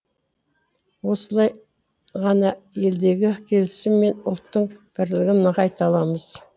осылай ғана елдегі келісім мен ұлттың бірлігін нығайта аламыз